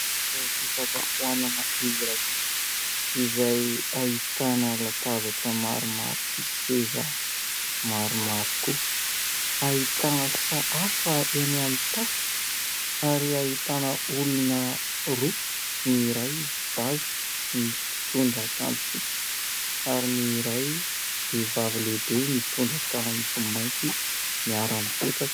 Toeram-pisakafoanana iray izay ahitana latabatra maromaro sy seza maromaro koa. Ahitana sahafa eny amin'ny tafo ary ahitana olona roa, ny iray zaza mitondra akanjo fotsy ary ny iray vehivavy lehibe mitondra akanjo mainty, miara-mipetraka.